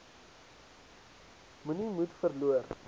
moenie moed verloor